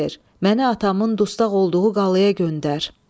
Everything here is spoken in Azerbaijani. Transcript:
Məni atamın dustaq olduğu qalaya göndər.